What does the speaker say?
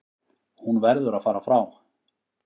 Hún verður að fara frá